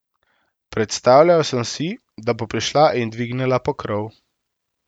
Predstavljal sem si, da bo prišla in dvignila pokrov.